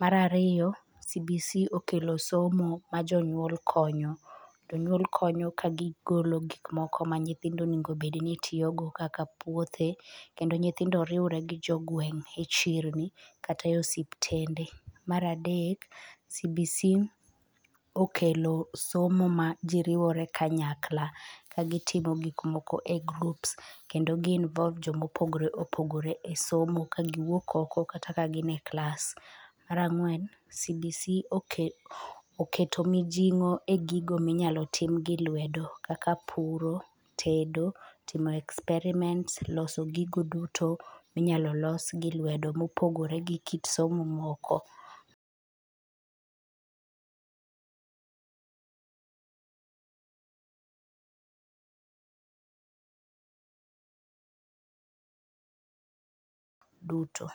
Mar ariyo cbc okelo somo ma jonyuol konyo. Jonyuol konyo ka gigolo gigo moko ma nyithindo onengo bedni tiyogo kaka puothe kendo nyithindo riwre gi jong'weng' echirni kata e ospitende. Mar adek cbc okelo somo ma jii riwore kanyakla ka gi timo gik moko e groups kendo gi involve joma opogore opogre e somo ka gi wuok oko kata kagin e klas. Mar ang'wen cbc oketo mijing'o egigo minyalo tim gi lwedo kaka puro, tedo timo experiments loso gigo duto minyalo los gi lwedo mopogore gi kit somo moko duto.